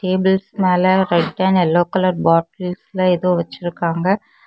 டேபிள்ஸ்க்கு மேல red and yellow colour பாட்டில்ஸ்லெ ஏதோ வச்சிருக்காங்க.